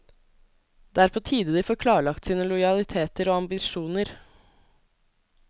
Det er på tide de får klarlagt sine lojaliteter og ambisjoner.